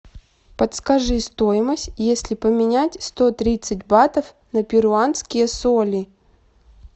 подскажи стоимость если поменять сто тридцать батов на перуанские соли